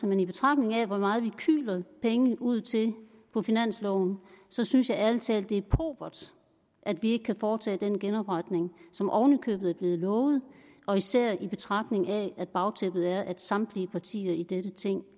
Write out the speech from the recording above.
men i betragtning af hvor meget vi kyler penge ud til på finansloven synes jeg ærlig talt at det er pauvert at vi ikke kan foretage den genopretning som oven i købet er blevet lovet og især i betragtning af at bagtæppet er at samtlige partier i dette ting